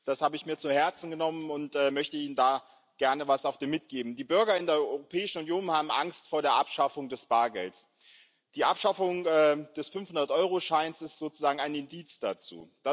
Das habe ich mir zu Herzen genommen und möchte Ihnen da gerne etwas auf den Weg mitgeben Die Bürger in der Europäischen Union haben Angst vor der Abschaffung des Bargelds. Die Abschaffung des 500 Euro Scheins ist sozusagen ein Indiz dafür.